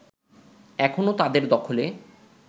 এখনও তাদের দখলে